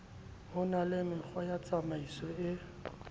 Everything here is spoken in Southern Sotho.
ho na le mekgwatsamaiso e